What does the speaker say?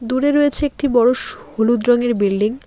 দূরে রয়েছে একটি বড়ো সো হলুদ রঙের বিল্ডিং ।